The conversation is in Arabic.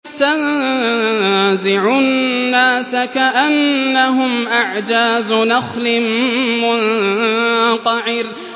تَنزِعُ النَّاسَ كَأَنَّهُمْ أَعْجَازُ نَخْلٍ مُّنقَعِرٍ